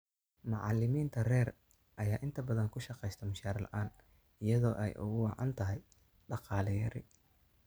Macallimiinta rer ayaa inta badan ku shaqeysta mushaar la�aan iyadoo ay ugu wacan tahay dhaqaale yari.